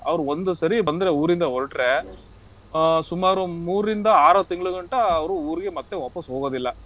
ಅವ್ರ್ ಒಂದ್ ಸರಿ ಬಂದ್ರೆ ಊರಿಂದ ಹೊರಟ್ರೆ, ಆಹ್ ಸುಮಾರ್ ಒಂದ್ ಮೂರ್ರಿಂದ ಆರು ತಿಂಗ್ಳಿಗಂಟ ಅವ್ರು ಊರಿಗೆ ಮತ್ತೆ ವಾಪಸ್ ಹೋಗೋದಿಲ್ಲ.